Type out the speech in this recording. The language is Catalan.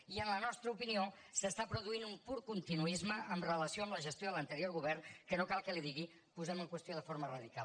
i en la nostra opinió es produeix un pur continuisme amb relació a la gestió de l’anterior govern que no cal que li ho digui posem en qüestió de forma radical